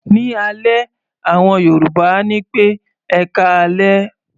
Ní alẹ́, àwọn Yorùbá á ní pé "ẹkáalẹ́".